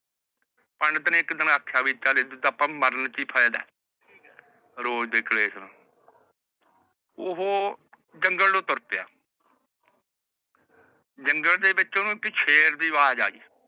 ਪੰਡਤ ਨੇ ਏਕ ਦਿਨ ਆਖਿਆ ਵੀ ਮਰਨ ਚ ਹੀ ਫਾਇਦਾ ਹੈ ਰੋਜ ਦੇ ਕਲੇਸ਼ ਨੂੰ ਓਹੋ ਜੰਗਲ ਨੂੰ ਤੁਰ ਪਿਆ ਜੰਗਲ ਦੇ ਵਿਚੋ ਓਹਨੂ ਸ਼ੇਰ ਦੀ ਆਵਾਜ਼ ਆਯੀ